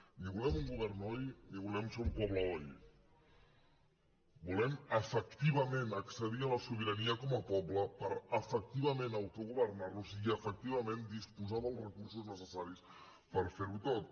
ni volem un govern oi ni volem ser un poble oi volem efectivament accedir a la sobirania com a poble per efectivament autogovernar nos i efectivament disposar dels recursos necessaris per fer ho tot